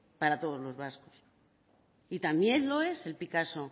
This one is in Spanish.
para todos los vascos y también lo es el picasso